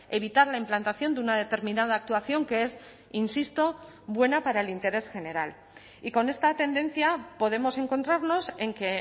evitar la implantación de una determinada actuación que es insisto buena para el interés general y con esta tendencia podemos encontrarnos en que